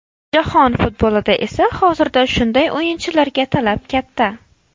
Jahon futbolida esa hozirda shunday o‘yinchilarga talab katta.